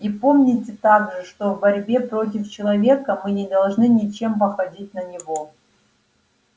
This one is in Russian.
и помните также что в борьбе против человека мы не должны ничем походить на него